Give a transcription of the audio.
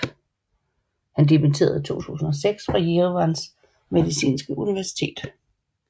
Han dimitterede i 2006 fra Jerevans medicinske universitet